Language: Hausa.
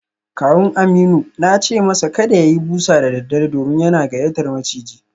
Kawun Aminu na ce masa kada ya yi busa da daddare domin yana gayyatar maciji